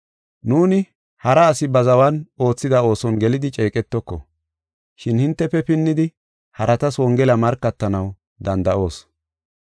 Nuuni hara asi ba zawan oothida ooson gelidi ceeqetoko, shin hintefe pinnidi haratas Wongela markatanaw danda7oos.